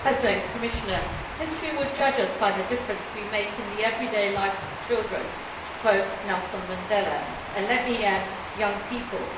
Mr President, history will judge us by the difference we make in the everyday lives of children', to quote Nelson Mandela and, let me add, young people'.